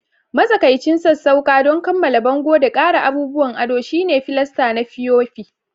Matsakaicin sassauƙa don kammala bango da ƙara abubuwan ado shine filasta na fiyofi